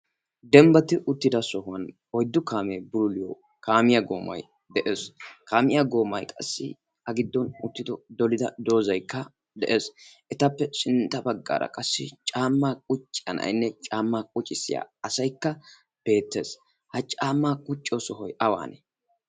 Dembbati uttida sohuwan oyddu kaame bulluliyo kaamiya goomay de'ees. kaamiyaa goomay qassi a giddon uttido dolidda doozaykka de'ees. etappe sintta baggara qassi caammay qucciya na'ayinne caama quccissiyo sohoy beettees. ha caamma quccissiyo sohoy awanne?